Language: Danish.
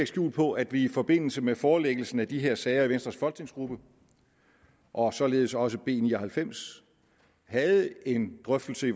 skjul på at vi i forbindelse med forelæggelsen af de her sager i venstres folketingsgruppe og således også af b ni og halvfems havde en drøftelse i